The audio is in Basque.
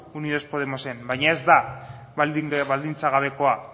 unidos podemosen baina ez da baldintza gabekoa